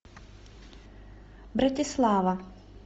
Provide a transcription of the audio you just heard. братислава